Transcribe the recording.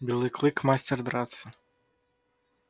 белый клык мастер драться